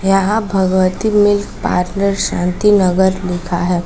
यहां Bhagwati milk parlour Shanti Nagar लिखा है।